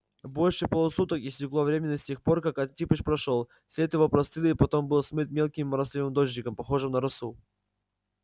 больше полусуток истекло времени с тех пор как антипыч прошёл след его простыл и потом был смыт мелким моросливым дождиком похожим на росу